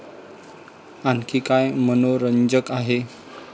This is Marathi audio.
आणखी काय मनोरंजक आहे?